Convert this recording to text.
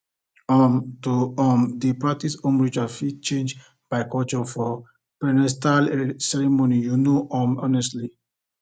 um to um dey practice home rituals fit change by culture for prenatal ceremonies you know um honestly